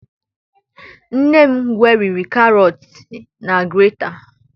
Nne m gweriri Karọt na grata.